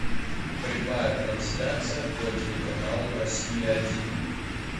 прямая трансляция по телеканалу россия один